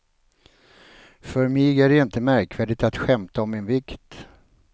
För mig är det inte märkvärdigt att skämta om min vikt.